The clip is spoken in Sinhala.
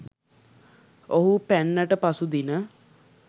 ඔහු පැන්නට පසු දින